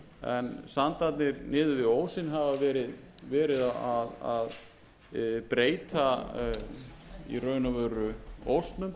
niður við ósinn hafa verið að breyta í raun og veru honum og